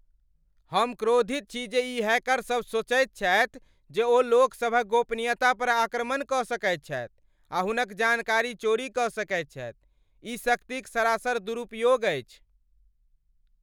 हम क्रोधित छी जे ई हैकरसभ सोचैत छथि जे ओ लोकसभक गोपनीयता पर आक्रमण कऽ सकैत छथि आ हुनक जानकारी चोरी कऽ सकैत छथि। ई शक्ति क सरासर दुरुपयोग अछि।